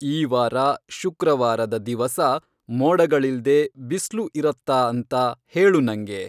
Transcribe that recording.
ಈ ವಾರ ಶುಕ್ರವಾರದ ದಿವಸ ಮೋಡಗಳಿಲ್ದೆ ಬಿಸ್ಲು ಇರತ್ತಾ ಅಂತ ಹೇಳು ನಂಗೆ